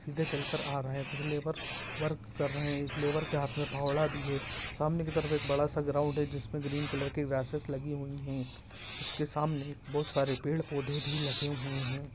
सीधे चलकर आ रहा है कुछ लेबर वर्क कर रहे है एक लेबर के हाथ में फावड़ा भी है सामने की तरफ एक बड़ा सा ग्राउंड भी है जिसमे ग्रीन कलर की रसिस लगी हुई है। उसके सामने बहुत सारे पेड़ पौधे भी लगे हुए है